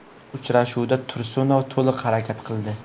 Uchrashuvda Tursunov to‘liq harakat qildi.